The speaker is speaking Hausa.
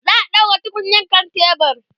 za'a ɗaura tukunyar kan tebur